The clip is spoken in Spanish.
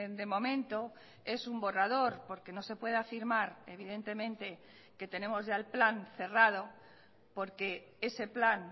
de momento es un borrador porque no se puede afirmar evidentemente que tenemos ya el plan cerrado porque ese plan